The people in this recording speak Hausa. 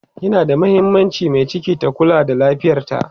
yana da mahimmaanci Mai ciki ta Kula da lafiyarta